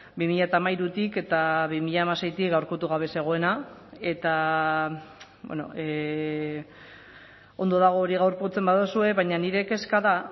bi mila hamairutik eta bi mila hamaseitik gaurkotu gabe zegoena eta ondo dago hori gaurkotzen baduzue baina nire kezka da